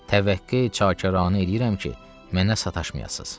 Təvəqqə çakaranə eləyirəm ki, mənə sataşmayasız.